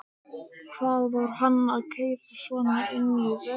Hvað var hann að keyra svona inn í vörnina?